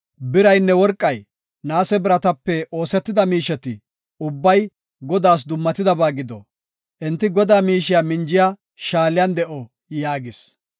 Biraynne worqey, naase biratape oosetida miisheti ubbay, Godaas dummatidaba gido. Enti Godaa miishiya minjiya shaaliyan de7o” yaagis.